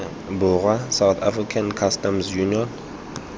borwa south african customs union